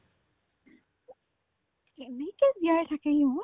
কেনেকে জীয়াই থাকে সিহঁত